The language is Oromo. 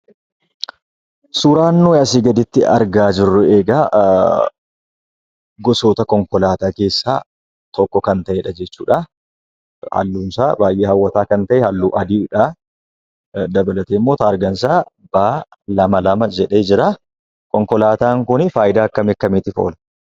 Suuraan nuyi asii gaditti argaa jirru egaa gosoota konkolaataa keessaa tokko kan ta'edha jechuudha. Halluunsaa baay'ee hawwataa kan ta'e halluu adiidha. Dabalateemmoo taargaansaa 'B22' jedhee jiraa. konkolaataan kunii faayidaa akkam akkamiitiif oola?